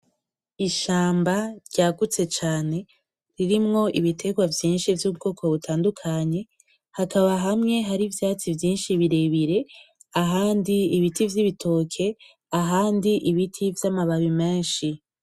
Ishamba ryagutse cane ririmwo ibiterwa vyishi vy'ubwoko butandukanye hakaba hamwe hari ivyatsi vyishi birebire ahandi ibiti vyibitoki ahandi ibiti vyamababi meshi